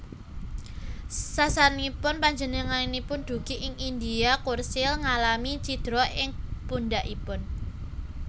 Sasampunipun panjenenganipun dugi ing India Churchill ngalami cidra ing pundhakipun